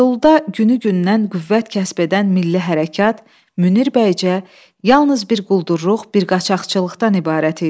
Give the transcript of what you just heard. Anadoluda günü-gündən qüvvət kəsb edən milli hərəkat Münir bəycə yalnız bir quldurluq, bir qaçaqçılıqdan ibarət idi.